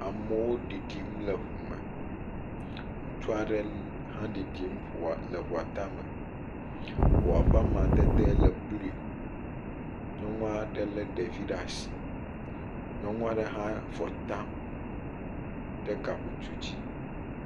Amewo le ɖiɖim le ŋu me, ŋutsa ɖe hã ɖiɖm le ŋua tame. Ŋua ƒe amadede le blu. Nyɔnua ɖe le ɖevi ɖe asi.ti Nyɔnua ɖe hã avɔ tam ɖe gabutu dzi.